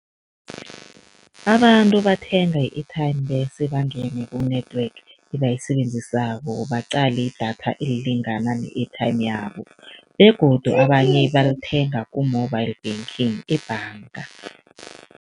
Abantu bathenga i-airtime bese bangene ku-network ebayisebenzisako, baqale idatha elilingana ne-airtime yabo begodu abanye balithenga ku-mobile banking ebhanga.